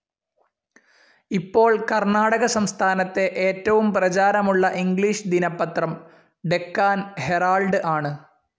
ഇപ്പോൾ കർണാടക സംസ്ഥാനത്തെ ഏറ്റവും പ്രചാരമുള്ള ഇംഗ്ലീഷ് ദിനപത്രം ഡെക്കാൻ ഹെറാൾഡ്‌ ആണ്.